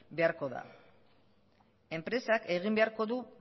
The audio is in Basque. beharko da enpresak egin beharko du